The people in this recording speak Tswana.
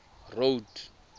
road